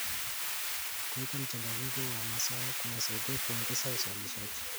Kuweka mchanganyiko wa mazao kunasaidia kuongeza uzalishaji.